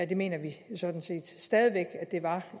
det mener vi sådan set stadig væk at det var